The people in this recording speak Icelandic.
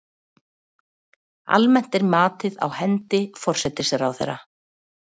Almennt er matið á hendi forsætisráðherra.